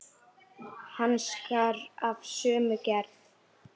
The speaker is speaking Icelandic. Hanskar af sömu gerð.